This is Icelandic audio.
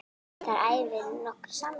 Þar æfum við nokkrir saman.